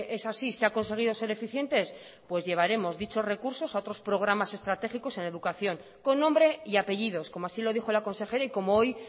es así se ha conseguido ser eficientes pues llevaremos dichos recursos a otros programas estratégicos en educación con nombre y apellidos como así lo dijo la consejera y como hoy